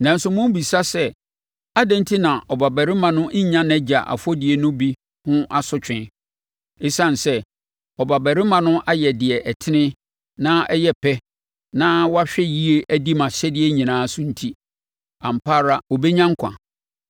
“Nanso mobisa sɛ, ‘Adɛn enti na ɔbabarima no nnya nʼagya afɔdie no bi ho asotwe?’ Esiane sɛ ɔbabarima no ayɛ deɛ ɛtene na ɛyɛ pɛ na wahwɛ yie adi mʼahyɛdeɛ nyinaa so enti, ampa ara ɔbɛnya nkwa.